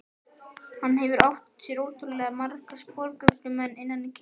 Hann hefur átt sér ótrúlega marga sporgöngumenn innan kirkjunnar.